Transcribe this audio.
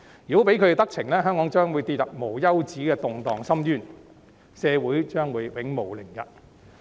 如果讓他們得逞，香港將會跌入無休止動盪的深淵，社會將會永無寧日。